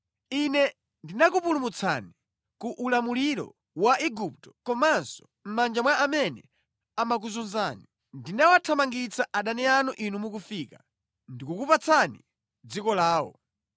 Ine ndinakupulumutsani ku ulamuliro wa Igupto komanso mʼmanja mwa amene amakuzunzani. Ndinawathamangitsa adani anu inu mukufika, ndikukupatsani dziko lawo.’